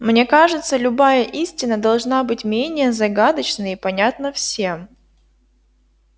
мне кажется любая истина должна быть менее загадочна и понятна всем